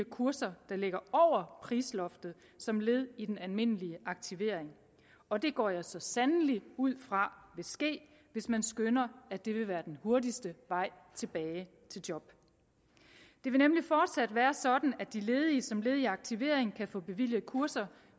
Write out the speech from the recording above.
kurser der ligger over prisloftet som led i den almindelige aktivering og det går jeg så sandelig ud fra vil ske hvis man skønner at det vil være den hurtigste vej tilbage til job det vil nemlig fortsat være sådan at de ledige som led i aktivering kan få bevilget kurser